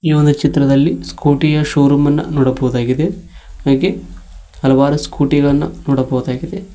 ಈ ಒಂದು ಚಿತ್ರದಲ್ಲಿ ಸ್ಕೂಟಿಯ ಶೋರೂಮ್ ಅನ್ನ ನೋಡಬಹುದಾಗಿದೆ ಹಾಗೆ ಹಲವಾರು ಸ್ಕೂಟಿಗಳನ್ನು ನೋಡಬಹುದಾಗಿದೆ.